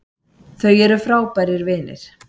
Þau eru frábærir vinir